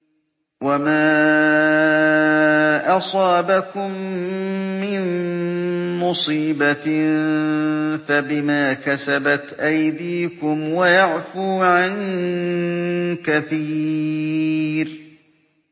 وَمَا أَصَابَكُم مِّن مُّصِيبَةٍ فَبِمَا كَسَبَتْ أَيْدِيكُمْ وَيَعْفُو عَن كَثِيرٍ